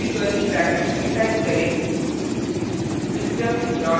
अतः फिर curly brackets में type करें